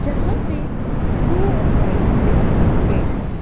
जहां पे ब्लू और व्हाइट से पेंट है।